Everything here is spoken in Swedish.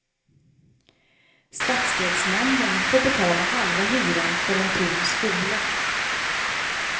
Stadsdelsnämnden får betala halva hyran för en tom skola.